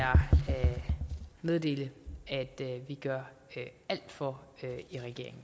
meddele at vi gør alt for i regeringen